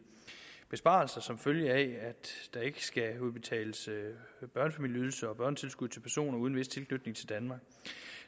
besparelser som følge af at der ikke skal udbetales børnefamilieydelse og børnetilskud til personer uden en vis tilknytning til danmark